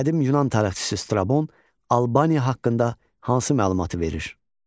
Qədim Yunan tarixçisi Strabon Albaniya haqqında hansı məlumatı verir?